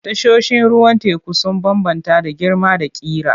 Tashoshin ruwan teku sun bambanta da girma da ƙira.